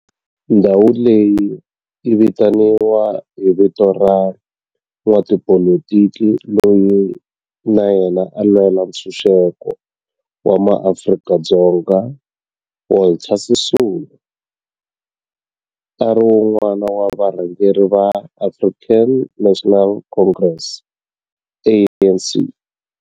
Ndhawo leyi yi vitaniwa hi vito ra n'watipolitiki loyi na yena a lwela ntshuxeko wa maAfrika-Dzonga Walter Sisulu, a ri wun'wana wa varhangeri va African National Congress, ANC.